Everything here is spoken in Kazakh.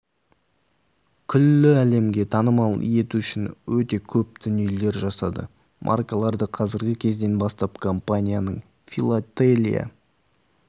күллі әлемге танымал ету үшін өте көп дүниелер жасады маркаларды қазіргі кезден бастап компанияның филателия